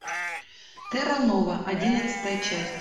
терра нова одиннадцатая часть